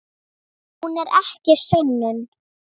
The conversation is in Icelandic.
Hún er ekki sönnun.